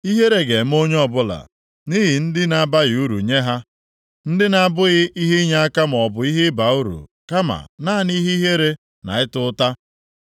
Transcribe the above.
ihere ga-eme onye ọbụla nʼihi ndị na-abaghị uru nye ha, ndị na-abụghị ihe inyeaka maọbụ ihe iba uru, kama naanị ihe ihere na ịta ụta.”